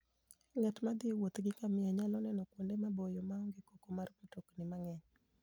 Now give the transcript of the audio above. Ng'at ma thi e wuoth gi ngamia nyalo neno kuonde maboyo ma onge koko mar mtokni mang'eny.